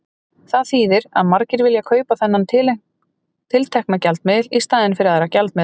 Það þýðir að margir vilja kaupa þennan tiltekna gjaldmiðil í staðinn fyrir aðra gjaldmiðla.